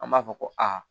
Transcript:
An b'a fɔ ko aa